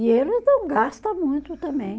E eles não gasta muito também.